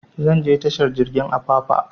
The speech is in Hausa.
Zan je tashar jirgin apapa